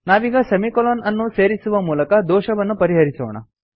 ನಾವೀಗ ಸೆಮಿಕೊಲನ್ ಅನ್ನು ಸೇರಿಸುವ ಮೂಲಕ ದೋಷವನ್ನು ಪರಿಹರಿಸೋಣ